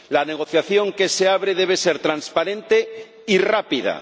La negociación que se abre debe ser transparente y rápida.